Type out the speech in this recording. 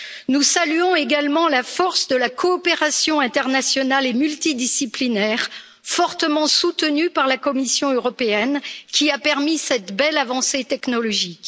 Nous saluons également la force de la coopération internationale et multidisciplinaire, fortement soutenue par la Commission européenne, qui a permis cette belle avancée technologique.